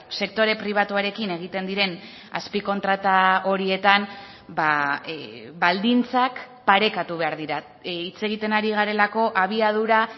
sektore pribatuarekin egiten diren azpikontrata horietan baldintzak parekatu behar dira hitz egiten ari garelako abiadura